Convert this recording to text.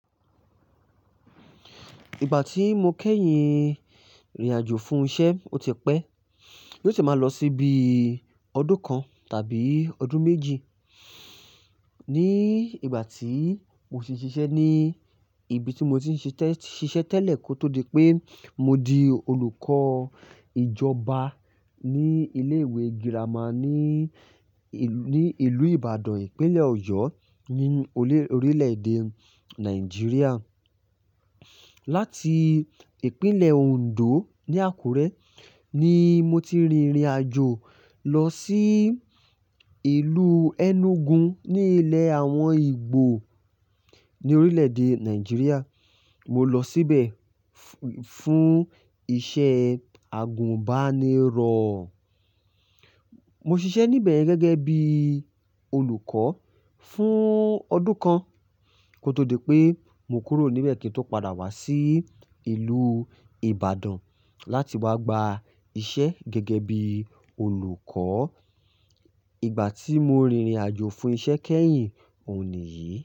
Ìgbà tí mo kẹ́yìn rìnrìn àjò fún iṣẹ́, ó ti pẹ́. Yóò sì máa lọ sí bí ọdún kan tàbí ọdún méjì. Ní ìgbà tí mo sì ń ṣiṣẹ́ ní ibi tí mo ti ń ṣiṣẹ́ tẹ́lẹ̀ kó tó di pé mo di olùkọ́ ìjọba ní ilé ìwé girama ní, ní ìlú Ìbàdàn ìpínlẹ̀ ọ̀yọ́ ní orílẹ̀ èdè Nàìjíríà. Láti ìpínlẹ̀ Òǹdó ní Àkúrẹ́ ni mo ti rìnrìn àjò lọ sí ìlú Enugu ní ilẹ̀ àwọn Ìgbò ní orílẹ̀ èdè Nàìjíríà. Mo lọ síbẹ̀ fún iṣẹ́ agùbánirọ̀. Mo ṣiṣẹ́ níbẹ̀ gẹ́gẹ́ bí olùkọ́ fún ọdún kan kó tó di pé mo kúrò níbẹ̀ kí n tó padà wá sí ìlú Ìbàdàn láti wá gba iṣẹ́ gẹ́gẹ́ bí olùkọ́. Ìgbà tí mo rìnrìn àjò fún iṣẹ́ kẹ́yìn, òun nìyí.